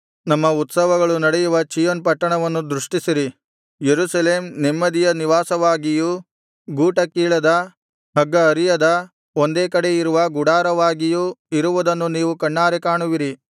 ನಮ್ಮ ಉತ್ಸವಗಳು ನಡೆಯುವ ಚೀಯೋನ್ ಪಟ್ಟಣವನ್ನು ದೃಷ್ಟಿಸಿರಿ ಯೆರೂಸಲೇಮ್ ನೆಮ್ಮದಿಯ ನಿವಾಸವಾಗಿಯೂ ಗೂಟಕೀಳದ ಹಗ್ಗಹರಿಯದ ಒಂದೇ ಕಡೆ ಇರುವ ಗುಡಾರವಾಗಿಯೂ ಇರುವುದನ್ನು ನೀವು ಕಣ್ಣಾರೆ ಕಾಣುವಿರಿ